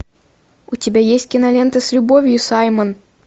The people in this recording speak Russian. у тебя есть кинолента с любовью саймон